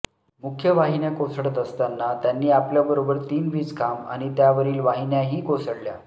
मुख्य वाहिन्या कोसळत असताना त्यांनी आपल्याबरोबर तीन वीज खांब आणि त्यावरील वाहिन्याही कोसळल्या